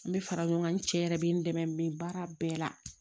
N bɛ fara ɲɔgɔn kan n cɛ yɛrɛ bɛ n dɛmɛ n bɛ baara bɛɛ la